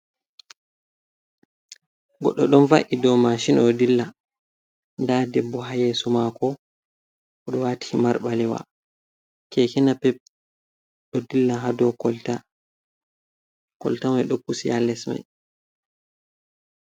Goɗɗo ɗon va’i dou mashin o dilla nda debbo haa yesomako odo watii himar balewa nda keke napep ɗo dilla ha dou kolta kolta mai ɗo pusi haa lesmai.